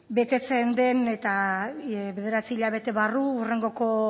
betetzen den eta bederatzi hilabete barru hurrengoko